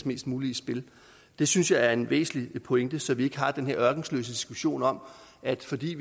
mest muligt i spil det synes jeg er en væsentlig pointe så vi ikke har den her ørkesløse diskussion om at fordi